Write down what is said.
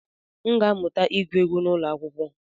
M ga-amụta ịgụ egwu n'ụlọ akwụkwọ